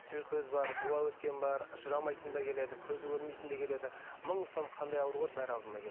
тіл көз бар дуа өткен бар жүре алмайтын да келеді көзі көрмейтін де келеді мың сан қандай ауру бар барлығы алдыма